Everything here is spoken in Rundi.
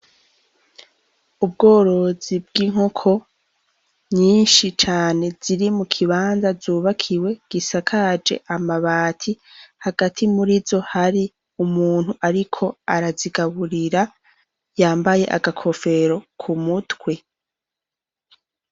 Ubworozi bw’inkoko nyinshi cane ziri mu kibanza z’ubakiwe gisakaje amabati hagati muri zo hari umuntu ariko arazigaburira yambaye agakofero kumutwe.